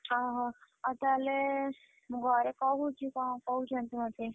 ଅହ, ଆଉ ତାହେଲେ, ମୁଁ ଘରେ କହୁଛି କଣ କହୁଛନ୍ତି ମତେ?